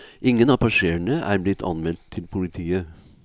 Ingen av passasjerene er blitt anmeldt til politiet.